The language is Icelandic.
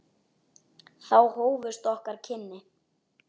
Þá hófust okkar kynni.